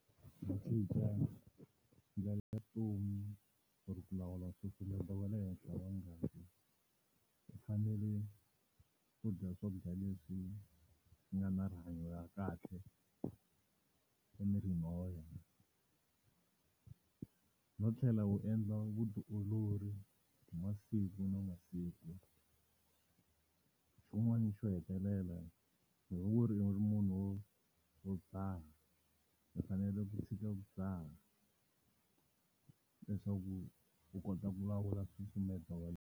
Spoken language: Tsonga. Ku cinca ndlela ya vutomi or ku lawula nsusumeto wa le henhla wa ngati, u fanele ku dya swakudya leswi nga na rihanyo ra kahle emirini wa yena. No tlhela u endla vutiolori hi masiku na masiku. Xin'wani xo hetelela, loko ku ri u ri munhu wo wo dzaha u fanele ku tshika ku dzaha leswaku u kota ku lawula nsusumeto wa .